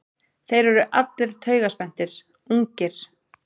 Þeir eru allir taugaspenntir, ungir.